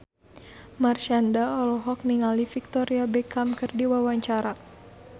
Marshanda olohok ningali Victoria Beckham keur diwawancara